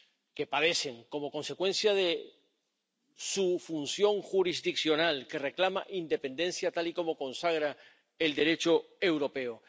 que padecen como consecuencia de su función jurisdiccional, que reclama independencia, tal y como consagra el Derecho europeo.